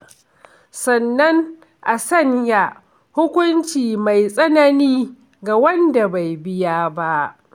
Sannan a sanya hukunci mai tsanani ga wanda bai biya ba.